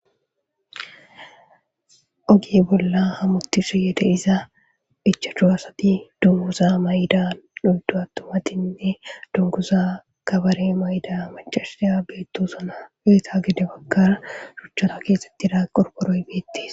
oge bolla hamutishiyede iza ichadhu asati dunguza may7da duyddu attomatinne dunguza kabare mayda machashiya beettosuna eeta gide bakkara shuchchata keesetti da qorkoroy beettis